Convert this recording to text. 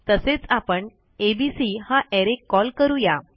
तसेच आपण एबीसी हा अरे कॉल करू या